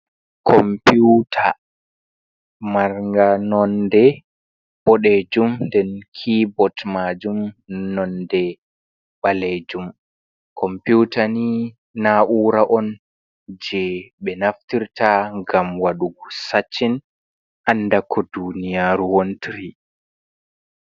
Komputa, marnga nonde boɗejum nden kibot majum nonde ɓalejum, komputa ni na ura on je ɓe naftirta ngam waɗugo saccin, andako duniyaru wontiri.